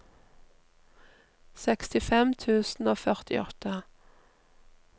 sekstifem tusen og førtiåtte